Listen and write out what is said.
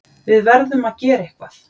Við verðum að gera eitthvað!